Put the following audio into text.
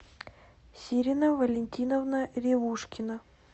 сирина валентиновна ревушкина